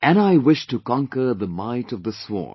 And I wish to conquer the might of the sword